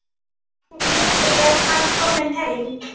Fanginn hlær og mjakar sér undan fjallinu.